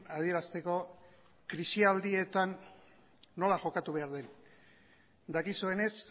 adierazteko krisialdietan nola jokatu behar den dakizuenez